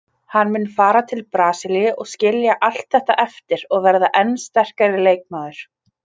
Hann mun fara til Brasilíu og skilja allt þetta eftir og verða enn sterkari leikmaður.